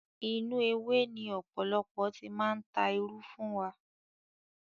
Inú ewé ni ọ̀pọ̀lọpọ̀ ti máa ń ta irú fún wa.